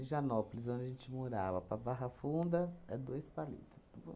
De Higienópolis, onde a gente morava, para Barra Funda, é dois palito.